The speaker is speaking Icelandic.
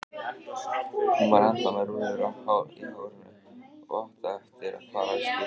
Hún var ennþá með rúllur í hárinu og átti eftir að fara í sturtu.